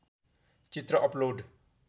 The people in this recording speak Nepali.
चित्र अपलोड